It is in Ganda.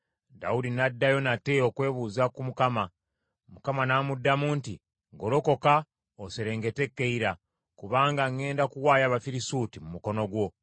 Dawudi n’addayo nate okwebuuza ku Mukama . Mukama n’amuddamu nti, “Golokoka oserengete e Keyira, kubanga ŋŋenda kuwaayo Abafirisuuti mu mukono gwo.”